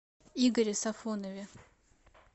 игоре сафонове